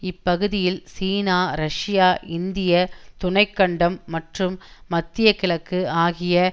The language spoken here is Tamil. இப்பகுதியில் சீனா ரஷ்யா இந்திய துணை கண்டம் மற்றும் மத்திய கிழக்கு ஆகிய